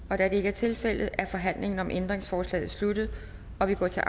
da det ikke er tilfældet er forhandlingen om ændringsforslaget sluttet og vi går til